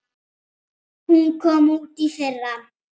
Hún kom út í fyrra.